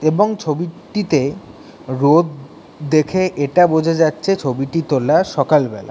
এবং ছবি-টিতে রোদ দেখে এটা বোঝা যাচ্ছে ছবিটি তোলা সকালবেলা।